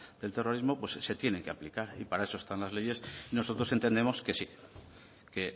del terrorismo se tiene que aplicar y para eso están las leyes nosotros entendemos que sí que